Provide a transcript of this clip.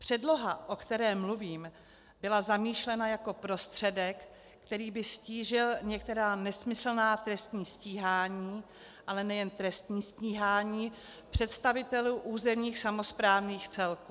Předloha, o které mluvím, byla zamýšlena jako prostředek, který by ztížil některá nesmyslná trestní stíhání, ale nejen trestní stíhání, představitelů územních samosprávných celků.